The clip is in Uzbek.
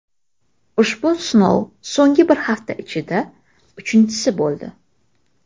Ushbu sinov so‘nggi bir hafta ichida uchinchisi bo‘ldi.